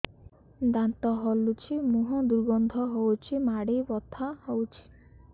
ଦାନ୍ତ ହଲୁଛି ମୁହଁ ଦୁର୍ଗନ୍ଧ ହଉଚି ମାଢି ବଥା ହଉଚି